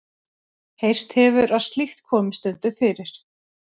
Heyrst hefur að slíkt komi stundum fyrir.